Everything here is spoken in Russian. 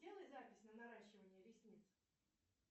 сделай запись на наращивание ресниц